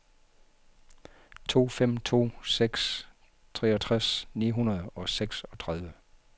to fem to seks treogtres ni hundrede og seksogtredive